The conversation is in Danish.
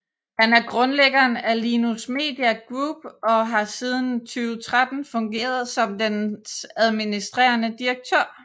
Han er grundlæggeren af Linus Media Group og har siden 2013 fungeret som dens administrerende direktør